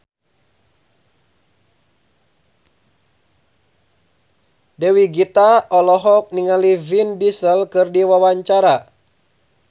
Dewi Gita olohok ningali Vin Diesel keur diwawancara